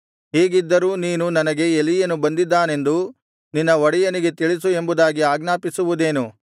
ಹೀಗಿದ್ದರೂ ನೀನು ನನಗೆ ಎಲೀಯನು ಬಂದಿದ್ದಾನೆಂದು ನಿನ್ನ ಒಡೆಯನಿಗೆ ತಿಳಿಸು ಎಂಬುದಾಗಿ ಆಜ್ಞಾಪಿಸುವುದೇನು